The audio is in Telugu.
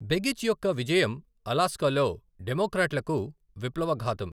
బెగిచ్ యొక్క విజయం అలస్కాలో డెమొక్రాట్లకు విప్లవఘాతం